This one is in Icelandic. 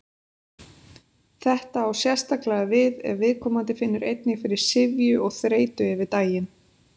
Þetta á sérstaklega við ef viðkomandi finnur einnig fyrir syfju og þreytu yfir daginn.